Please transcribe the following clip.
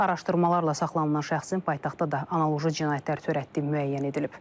Araşdırmalarla saxlanılan şəxsin paytaxtda da analoji cinayətlər törətdiyi müəyyən edilib.